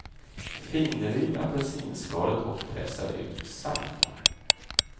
Finriv apelsinskalet och pressa ut saften.